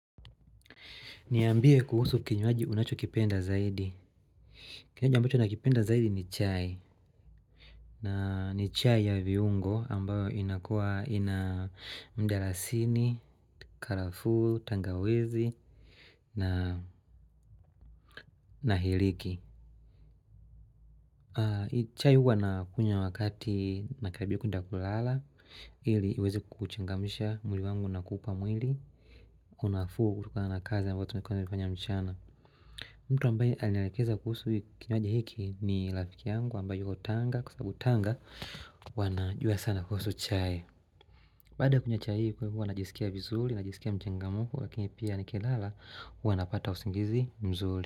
Niambie kuhusu kinywaji unacho kipenda zaidi. Kinywaji ambacho nakipenda zaidi ni chai. Na ni chai ya viungo ambayo inakua ina mndalasini, karafu, tangawizi na na hiliki. Chai huwa na kunywa wakati nakarabia kwenda kulala ili uweze kuchengamisha mwili wangu na kupa mwili. Unafuu kutokana na kazi ambayo tunakuwa tukifanya mchana. Mtu ambaye anelekeza kuhusu kinywaji hiki ni rafiki yangu ambaye yuko tanga kwa sababu tanga wanajua sana kuhusu chai Baada kunywa chai kwa hivo najisikia vizuri na jisikia mchengamfu lakini pia ni kilala huwa napata usingizi mzuri.